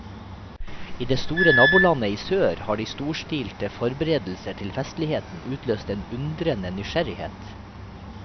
I det store nabolandet i sør har de storstilede forberedelser til festligheten utløst en undrende nysgjerrighet.